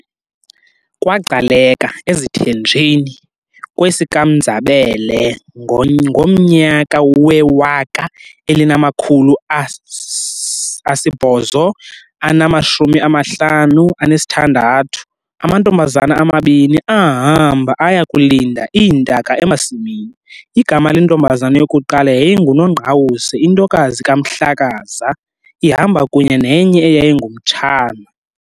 KwaGcaleka, eziThenjini, kwesikaMnzabele ngomnyaka we-1856, amantombazana amabini, ahamba aya kulinda iintaka emasimini, igama lentombazana yokuqala yayinguNongqawuse intokazi kaMhlakaza, ihamba kunye nenye eyayingumtshana.